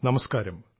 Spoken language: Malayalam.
നമസ്ക്കാരം